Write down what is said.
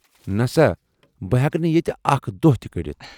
نسٲ، بہٕ ہیکہٕ نہٕ ییتہِ اکھ دۅہ تہِ کٔڈِتھ۔